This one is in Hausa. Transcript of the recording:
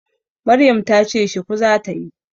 Maryam ta ce shuku za ta yi.